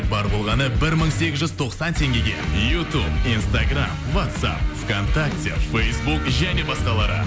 бар болғаны бір мың сегіз жүз тоқсан теңгеге ютуб инстаграмм вацап вконтакте фейсбук және басқалары